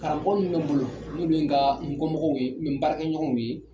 Karamɔgɔ minnu bɛ n bolo minnu ye n ka n kɔmɔgɔw ye n baarakɛɲɔgɔnw ye